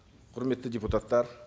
құрметті депутаттар